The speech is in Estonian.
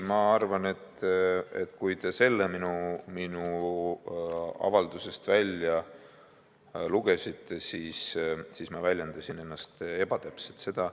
Ma arvan, et kui te selle minu avaldusest välja lugesite, siis ma väljendasin ennast ebatäpselt.